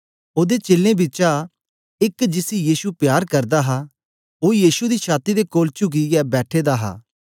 ओदे चेलें बिचा एक जिसी यीशु प्यार करदा हा ओ यीशु दी छाती दे कोल चुकियै बैठे दा हा